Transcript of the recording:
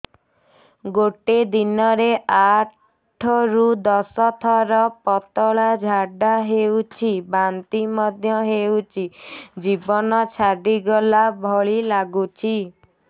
ଗୋଟେ ଦିନରେ ଆଠ ରୁ ଦଶ ଥର ପତଳା ଝାଡା ହେଉଛି ବାନ୍ତି ମଧ୍ୟ ହେଉଛି ଜୀବନ ଛାଡିଗଲା ଭଳି ଲଗୁଛି